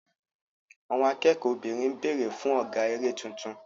Àwọn akẹ́kọ̀ọ́ obìnrin ń béèrè fún ọ̀gá eré tuntun.